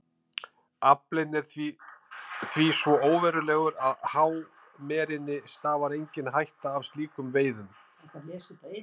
Aflinn er því svo óverulegur að hámerinni stafar engin hætta af slíkum veiðum.